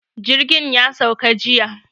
Jirgin ya sauka jiya.